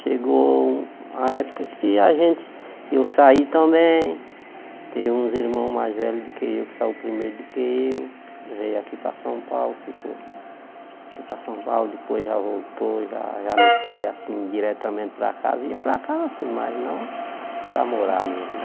Chegou o a época que a gente eu saí também, tem uns irmãos mais velhos do que eu, que saiu primeiro do que eu, veio aqui para São Paulo, ficou aqui para São Paulo, depois já voltou, já já não foi assim diretamente para casa, ia para casa assim, mas não para morar mesmo.